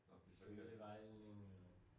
Nå fordi så kan